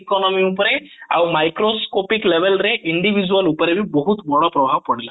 economy ଉପରେ ଆଉ microscopic level ରେ individual ଉପରେ ବି ବହୁତ ବଡ ପ୍ରଭାବ ପଡିଥିଲା